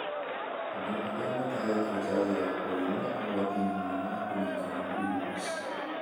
Andũ arĩa matahetwo njanjo ya polio marĩ ũgwati-inĩ mũnene wa kũnyitwo nĩ mũrimũ ũcio.